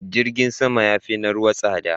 Jirgin sama ya fi na ruwa tsada.